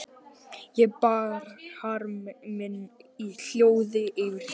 Ég bar harm minn í hljóði yfir þessu.